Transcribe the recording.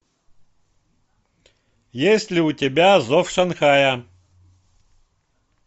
есть ли у тебя зов шанхая